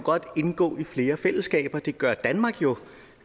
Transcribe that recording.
indgå i flere fællesskaber det gør danmark jo